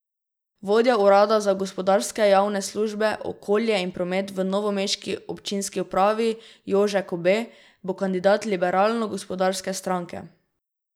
Vodja urada za gospodarske javne službe, okolje in promet v novomeški občinski upravi Jože Kobe bo kandidat Liberalno gospodarske stranke.